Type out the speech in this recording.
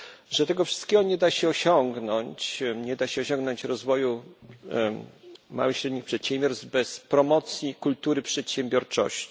że tego wszystkiego nie da się osiągnąć, nie da się osiągnąć rozwoju małych i średnich przedsiębiorstw bez promocji kultury przedsiębiorczości.